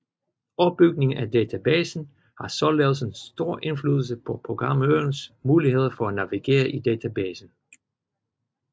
Opbygningen af databasen har således stor indflydelse på programmørens muligheder for at navigere i databasen